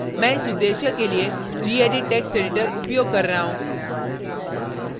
मैं इस उद्देश्य के लिए gedit text editor उपयोग कर रहा हूँ